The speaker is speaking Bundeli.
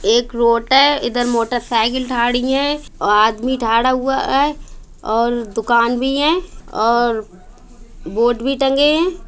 एक रोट है इधर मोटरसायकल थारी हैऔर आदमी थारा हुआ हैऔर दुकान भी हैऔर बोर्ड भी टंगे हैं।